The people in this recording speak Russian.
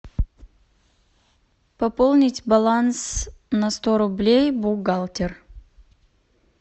пополнить баланс на сто рублей бухгалтер